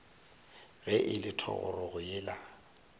ge e le thogorogo yena